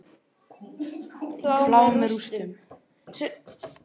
Flá með rústum.